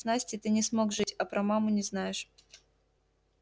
с настей ты не смог жить а про маму не знаешь